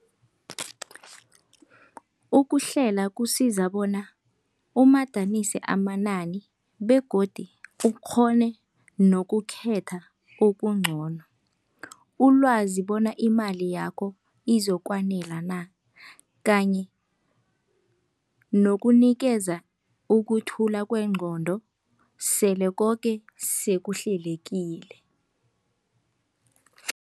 Ukuhlela kusiza bona umadanise amanani begodi ukghone nokukhetha okuncono. Ulwazi bona imali yakho izokwanela na, kanye nokunikeza ukuthula kwengqondo sele koke sekuhlelekile.